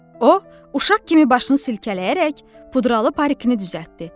O, uşaq kimi başını silkələyərək pudralı parikini düzəltdi.